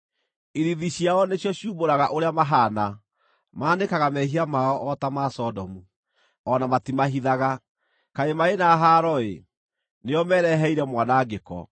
Ithiithi ciao nĩcio ciumbũraga ũrĩa mahaana; maanĩkaga mehia mao o ta ma Sodomu; o na matimahithaga. Kaĩ marĩ na haaro-ĩ! Nĩo mereheire mwanangĩko.